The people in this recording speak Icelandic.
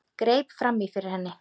Greip fram í fyrir henni.